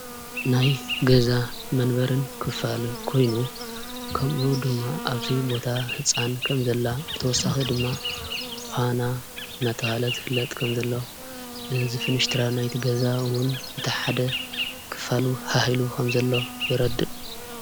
ናይ ገዛ መንበርን ክፋል ኮይኑ ከምኡኡ ድማ ኣብዙይ ቦታ ሕፃን ከም ዘላ ብተወሳኺ ድማ ዃና ናተሃለ ዘፍለጥ ከም ዘለ ን ዝፍንሽትራ ናይቲ ገዛውን ብታሓደ ክፋሉ ኃሂሉ ኸም ዘለ የረድእ።